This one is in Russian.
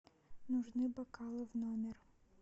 нужны бокалы в номер